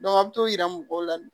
a bɛ t'o yira mɔgɔw la